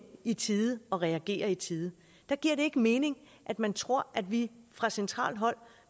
i tide og reagere i tide der giver det ikke mening at man tror at vi fra centralt hold